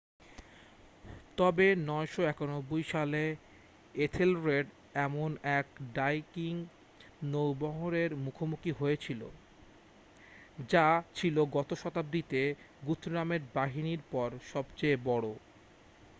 তবে 991 সালে এথেলরেড এমন এক ভাইকিং নৌবহরের মুখোমুখি হয়েছিল যা ছিল গত শতাব্দীতে গুথরামের বাহিনীর পর সবচেয়ে বড়